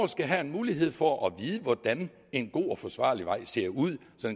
skal have en mulighed for at vide hvordan en god og forsvarlig vej ser ud så